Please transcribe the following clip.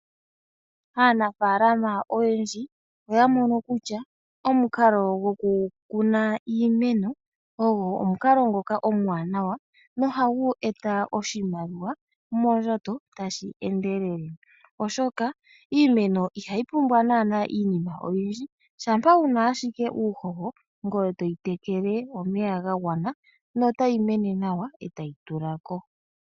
Aanafalama oyendji oya mono kutya omukalo gokukuna iimeno ogo omukalo ngoka omuwanawa nohagu eta oshimaliwa moondjato tashi endelele, oshoka iimeno ihayi pumbwa naanaa iinima oyindji. Shampa wu na ashike uuhoho ngoye to yi tekele omeya ga gwana notayi mene nawa e tayi tula ko.